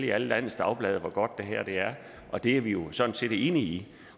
i alle landets dagblade og fortælle hvor godt det er og det er vi jo sådan set enige i